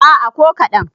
a' a ko kaɗan